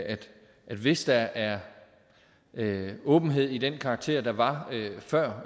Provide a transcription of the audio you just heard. hvis der er åbenhed af den karakter der var før